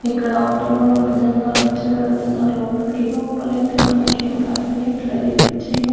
ఇక్కడ ఆటోలో కూడా జనాలు వచ్చి వెళ్తున్నారు లోపలికి లోపలైతే మనకి ఏమి కనిపియట్లేదు ఈ పిక్చర్ లో .